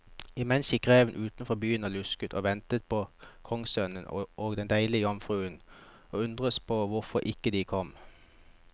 Imens gikk reven utenfor byen og lusket og ventet på kongssønnen og den deilige jomfruen, og undredes på hvorfor de ikke kom.